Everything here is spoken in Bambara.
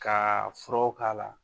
Ka furaw k'a la.